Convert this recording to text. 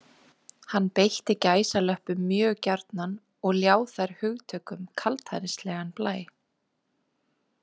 Hann beitti gæsalöppum mjög gjarnan og ljá þær hugtökum kaldhæðnislegan blæ.